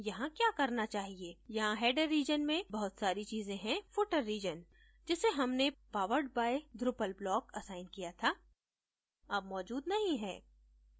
यहाँ header region में बहुत सारी चीजें है footer region जिसे हमने powered by drupal block assign किया था अब मौजूद नहीं है